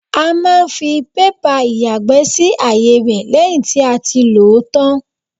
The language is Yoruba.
A máa ń fi pépà ìyàgbẹ́ sí àyè rẹ lẹ́yìn tí a ti lòó tán.